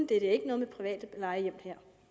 det er ikke noget med private plejehjem